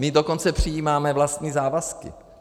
My dokonce přijímáme vlastní závazky.